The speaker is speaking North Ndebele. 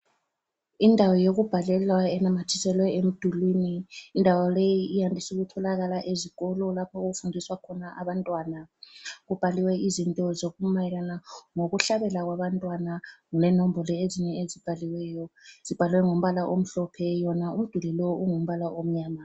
Indawo yokubhalelwa enamathiselwe emdulwini, indawo leyi iyandise ukutholakala ezikolo lapho okufundiswa khona abantwana. Kubhaliwe izinto ezimayelana ngokuhlabela kwabantwana, lenombolo ezinye ezibhaliweyo zibhalwe ngombala omhlophe wona umduli lowu ungumbala omnyama.